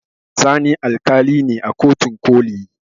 Sani alƙali ne a kotun ƙoli